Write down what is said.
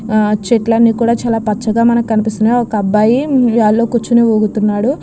ఆ చెట్లని కూడా కూడా చాలా పచ్చగా కనిపిస్తున్నాయి ఒక అబ్బాయి ఉయ్యాలలో కూర్చొని ఊగుతున్నాడు.